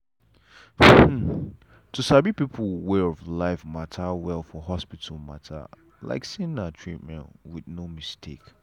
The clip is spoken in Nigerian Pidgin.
hmm to sabi people way of life matter well for hospital matter like say na treatment with with no mistake.